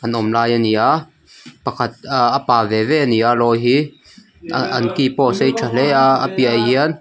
an awm lai a ni a pakhat ahh a pâ ve ve an ni a lawi hi ahh an ki pawh a sei tha hle a a piah ah hian.